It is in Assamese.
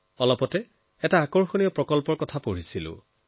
সম্প্ৰতি মই এটা আকৰ্ষণীয় প্ৰকল্পৰ সন্দৰ্ভত পঢ়িছিলো